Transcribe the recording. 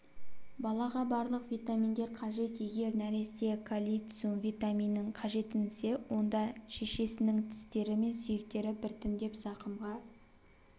балаға барлық витаминдер қажет егер нәресте кальциум витаминін қажетсінсе онда шешесінің тістері мен сүйектері біртіндеп зақымға